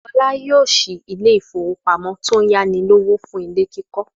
Fọlá yóò ṣí ilé-ìfowópamọ́sí ayánilówó ilé kíkọ́.